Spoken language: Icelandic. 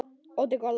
Örlítil gola.